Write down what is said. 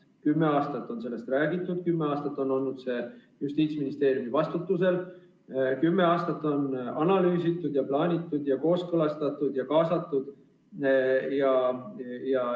Kümme aastat on sellest räägitud, kümme aastat on see olnud Justiitsministeeriumi vastutusalas, kümme aastat on analüüsitud, plaanitud, kooskõlastatud ja kaasatud.